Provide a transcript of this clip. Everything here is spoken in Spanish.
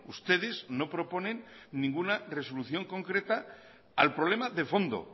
ustedes no proponen ninguna resolución concreta al problema de fondo